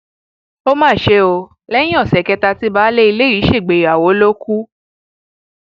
ó mà ṣe o lẹyìn ọsẹ kẹta tí baálé ilé yìí ṣègbéyàwó ló kù